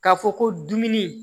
K'a fɔ ko dumuni